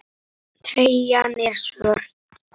Treyjan er svört.